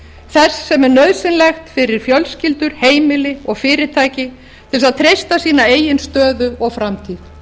þess sem er nauðsynlegt fyrir fjölskyldur heimili og fyrirtæki til að treysta sína eigin stöðu og framtíð